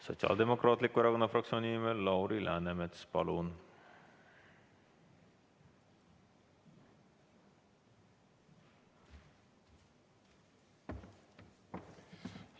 Sotsiaaldemokraatliku Erakonna fraktsiooni nimel Lauri Läänemets, palun!